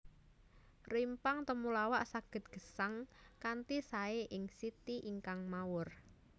Rimpang temulawak saged gesang kanthi saé ing siti ingkang mawur